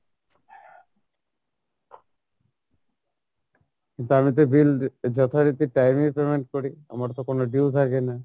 কিন্তু আমি তো bill যথারীতি time এ payment করি আমার তো কোনো due থাকে না।